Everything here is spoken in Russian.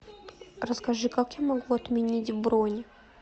расскажи как я могу отменить бронь